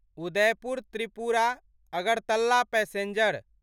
Udaipur Tripura Agartala passenger